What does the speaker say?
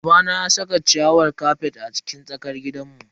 Babana ya saka ciyawar kafet a cikin tsakar gidanmu.